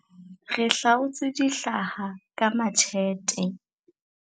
Re hlaotse dihlahla ka matjhete.